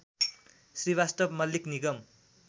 Srivastava Mallik Nigam